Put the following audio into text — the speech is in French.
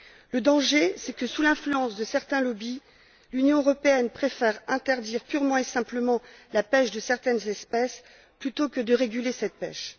Le danger, c'est que sous l'influence de certains lobbys, l'Union européenne préfère interdire purement et simplement la pêche de certaines espèces, plutôt que de réguler cette pêche.